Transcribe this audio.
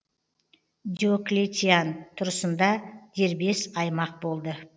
диоклетиан тұрысында дербес аймақ болды